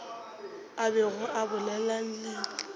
a bego a bolela le